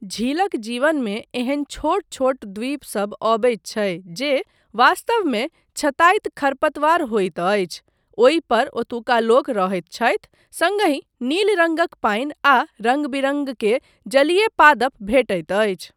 झीलक जीवनमे एहन छोट छोट द्वीपसब अबैत छै जे वास्तवमे छताइत खरपतवार होइत अछि, ओहिपर ओतुका लोक रहैत छथि सङ्गहि नील रङ्गक पानि आ रङ्ग बिरङ्ग के जलीय पादप भेटैत अछि।